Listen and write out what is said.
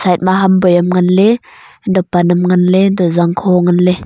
etma ham boi am ngan le eta pannam ngan ley enta jangkho ngan ley.